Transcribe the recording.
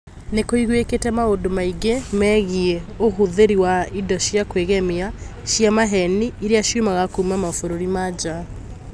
Ni kũiguĩkĩte maũndũ maingũ megiĩ ũhũthĩri wa indo cia kwĩgemia cia maheeni iria ciumaga kuma mabũrũri ma nja